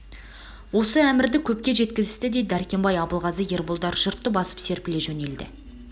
осы әмірді көпке жеткізісті де дәркембай абылғазы ерболдар жұртты басып серпіле жөнелді